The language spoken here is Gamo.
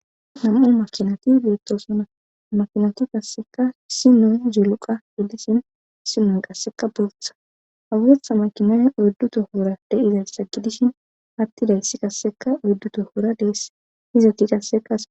Nam'u makinati biittosana makinati kasseka si nu ziluqa iddishin simon qasseka bootha hawetha makinay oyddu tohoora de'izayssa gidishin hattidayssi kasseka oyddu tohora deess hizati qasseka.